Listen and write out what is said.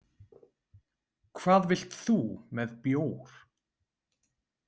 Hvað vilt þú með bjór?